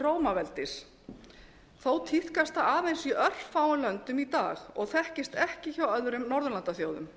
til rómaveldis þó tíðkast það aðeins í örfáum löndum í dag og þekkist ekki hjá öðrum norðurlandaþjóðum